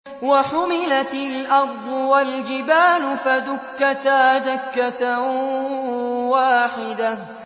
وَحُمِلَتِ الْأَرْضُ وَالْجِبَالُ فَدُكَّتَا دَكَّةً وَاحِدَةً